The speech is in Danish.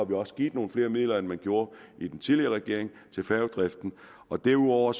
vi også give nogle flere midler end man gjorde i den tidligere regering og derudover